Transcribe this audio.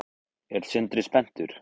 Er Sindri spenntur?